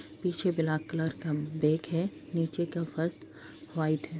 पीछे black colour का bag है। नीचे का फर्श वाइट है।